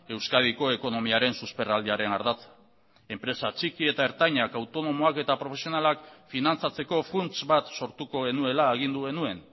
euskadiko ekonomiaren susperraldiaren ardatza enpresa txiki eta ertainak autonomoak eta profesionalak finantzatzeko funts bat sortuko genuela agindu genuen